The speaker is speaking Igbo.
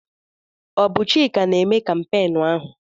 Ọ bụ Chika na-eme kampeenụ́ ahụ?